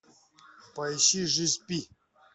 поищи жизнь пи